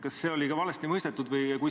Kas see oli ka valesti mõistetud?